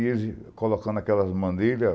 E ele colocando aquelas mandeiras...